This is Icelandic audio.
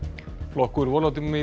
flokkur